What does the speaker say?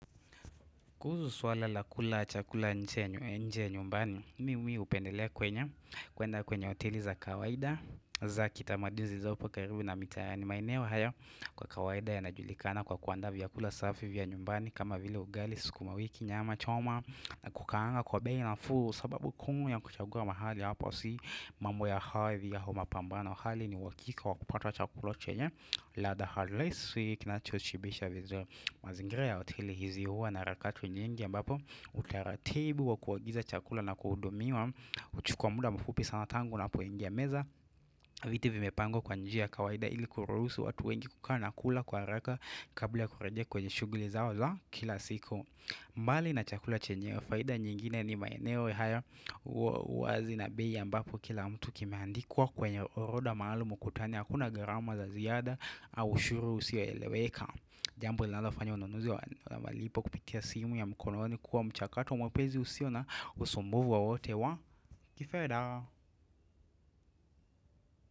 Kuhuzu swala la kula chakula nje ya nyumbani, mi hupendelea kwenye, kuenda kwenye hoteli za kawaida za kitamaduni zilizopo karibu na mitaani maeneo haya kwa kawaida yanajulikana kwa kuandaa vyakula safi vya nyumbani kama vile ugali, skumawiki, nyama, choma, kukaanga kwa bei nafuu sababu kuu ya kuchagua mahali hapa si mambo ya hawe viya humapambano hali ni uhakika wa kupata chakula chenye ladha halisi kinachoshibisha viziuri mazingira ya hoteli hizi huwa na rakatu nyingi ambapo utaratibu wa kuagiza chakula na kuhudumiwa huchukua muda mfupi sana tangu unapoingia meza Viti vimepangwa kwa njia ya kawaida ili kuruhusu watu wengi kukaa na kula kwa haraka kabla kurejea kwenye shuguli zao za kila siku mbali na chakula chenyewe faida nyingine ni maeneo haya wazi na bei ambapo kila mtu kimeandikwa kwenye oroda maalum ukutani Hakuna gharama za ziada au ushuru usio eleweka Jambo linalofanya ununuzi wa malipo kupitia simu ya mkononi kuwa mchakato mwepezi usio na usumbuvu wowote wa kifeda.